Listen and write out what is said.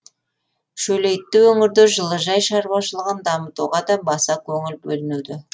шөлейтті өңірде жылыжай шаруашылығын дамытуға да баса көңіл бөлінуде